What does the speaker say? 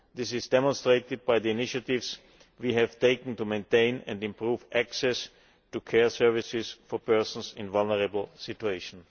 This is demonstrated by the initiatives we have taken to maintain and improve access to care services for persons in vulnerable situations.